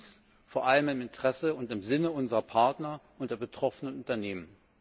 Dies vor allem im Interesse und im Sinne unserer Partner und der betroffenen Unternehmen.